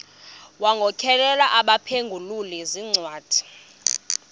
wagokelela abaphengululi zincwadi